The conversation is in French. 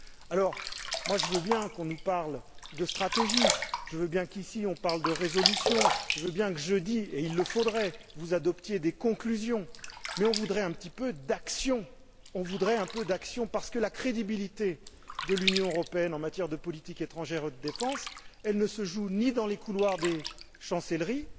Alors, moi, je veux bien qu'on nous parle de stratégie, je veux bien qu'ici, on parle de résolution, je veux bien que, jeudi et il le faudrait vous adoptiez des conclusions, mais on voudrait un petit peu d'action, parce que la crédibilité de l'Union européenne en matière de politique étrangère et de défense, elle ne se joue ni dans les couloirs des chancelleries,